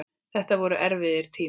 Þetta voru erfiðir tímar.